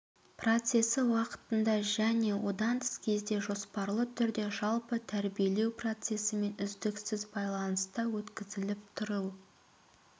процесі уақытында және одан тыс кезде жоспарлы түрде жалпы тәрбиелеу процесімен үздіксіз байланыста өткізіліп тұру